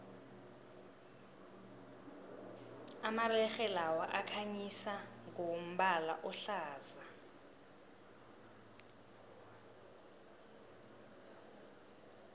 amalerhe lawa akhanyisa ngombala ohlaza